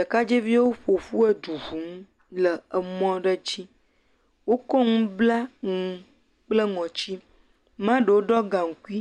Ɖekadzeviwo ƒoƒu edu ŋum le emɔ aɖe dzi. Wokɔ nu bla nu kple ŋɔtsi. Maɖewo ɖo gaŋkui,